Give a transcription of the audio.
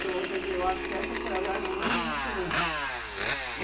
Então, quer dizer, eu acho que essa foi a viagem mais emocionante.